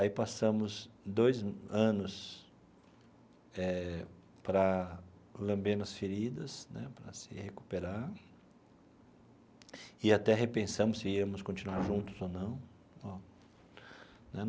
Aí passamos dois anos eh para lambendo as feridas né, para se recuperar, e até repensamos se íamos continuar juntos ou não ó né.